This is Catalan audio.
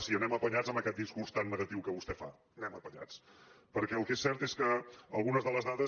sí anem apanyats amb aquest discurs tan negatiu que vostè fa anem apanyats perquè el que és cert és que algunes de les dades